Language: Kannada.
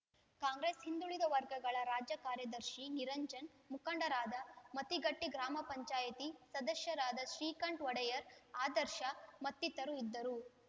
ಕಾಂಗ್ರೆಸ್‌ ಹಿಂದುಳಿದ ವರ್ಗಗಳ ರಾಜ್ಯ ಕಾರ್ಯದರ್ಶಿ ನಿರಂಜನ್‌ ಮುಖಂಡರಾದ ಮತಿಘಟ್ಟ ಗ್ರಾಮ ಪಂಚಾಯತಿ ಸದಸ್ಯ ಶ್ರೀಕಂಠ ವಡೆಯರ್‌ ಆದರ್ಶ ಮತ್ತಿತರರು ಇದ್ದರು